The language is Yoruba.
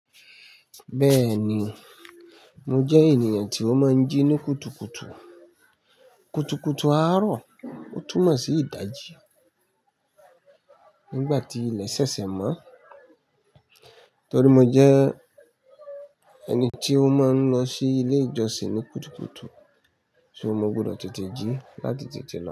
Bẹ́ẹ̀ni, mo jẹ́ ènìyàn tí ó máa ń jí ní kùtùkùtù. Kùtùkùtù àárọ̀, ó túmọ̀ sí ìdajì nígbà tí ilẹ̀ ṣẹ̀ṣẹ̀ mọ́. Torí mo jẹ́ ẹni tí ó máa ń lọ sí ilé ìjọsìn ní kùtùkùtù, ṣùgbọ́n mo gbọdọ̀ tètè jí láti tètè lọ.